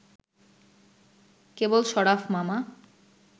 কেবল শরাফ মামা